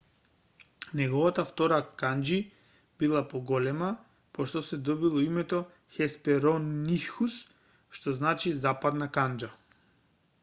неговата втора канџи била поголема по што се добило името хесперонихус што значи западна канџа